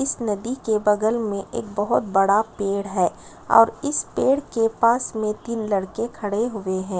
इस नदी के बगल मे एक बहोत बड़ा पेड़ है और इस पेड़ के पास मे तीन लड़के खड़े हुए है।